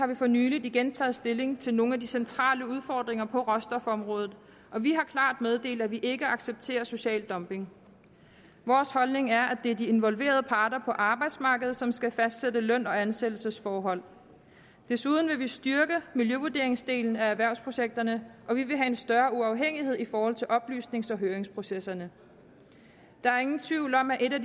vi for nylig igen taget stilling til nogle af de centrale udfordringer på råstofområdet og vi har klart meddelt at vi ikke accepterer social dumping vores holdning er at det er de involverede parter på arbejdsmarkedet som skal fastsætte løn og ansættelsesforhold desuden vil vi styrke miljøvurderingsdelen af erhvervsprojekterne og vi vil have en større uafhængighed i forhold til oplysnings og høringsprocesserne der er ingen tvivl om at en af